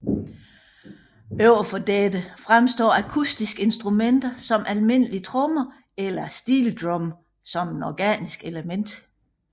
Overfor dette fremstår akustiske instrumenter som almindelige trommer eller steeldrum som et organisk element